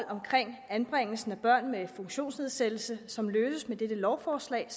omkring anbringelse af børn med funktionsnedsættelse som løses med dette lovforslag